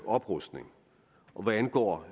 oprustning og hvad angår